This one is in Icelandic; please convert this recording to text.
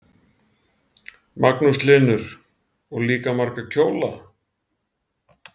Magnús Hlynur: Og líka marga kjóla?